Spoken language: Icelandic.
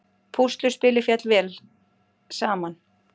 Púsluspilið féll vel saman